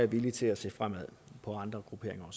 villig til at se på andre